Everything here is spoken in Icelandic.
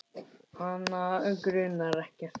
Hana grunar ekkert.